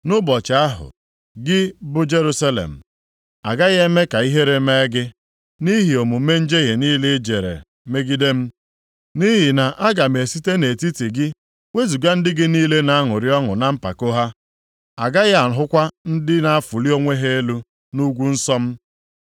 Nʼụbọchị ahụ, gị bụ Jerusalem, agaghị eme ka ihere mee gị, nʼihi omume njehie niile i jere megide m, nʼihi na aga m esite nʼetiti gị wezuga ndị gị niile na-aṅụrị ọṅụ + 3:11 Ya bụ, ndị na-anya isi na mpako ha. A gaghị ahụkwa ndị na-afụli onwe ha elu nʼugwu nsọ m.